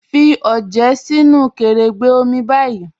Fí ọjẹ sínu kẹ̀rẹ́gbẹ́ omi báyì